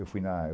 Eu fui na